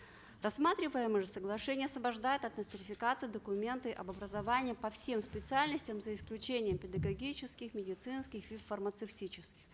рассматриваемое же соглашение освобождает от нострификации документы об образовании по всем специальностям за исключением педагогических медицинских и фармацевтических